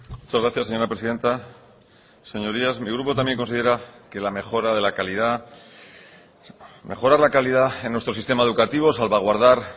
muchas gracias señora presidenta señorías mi grupo también considera que la mejora de la calidad mejorar la calidad en nuestro sistema educativo salvaguardar